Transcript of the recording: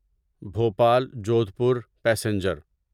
Bhopal Jodhpur passenger